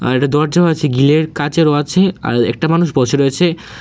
আর একটা দরজাও আছে গিলের কাঁচেরও আছে আর একটা মানুষ বসে রয়েছে।